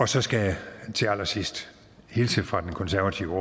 så skal jeg til allersidst hilse fra den konservative